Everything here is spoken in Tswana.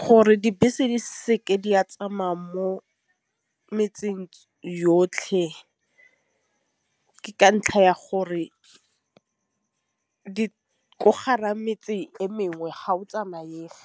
Gore dibese di seke di a tsamaya mo metseng yotlhe, ke ka ntlha ya gore di ko gara metse e mengwe ga o tsamaega.